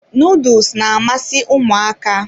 Nuduls na-amasị ụmụaka.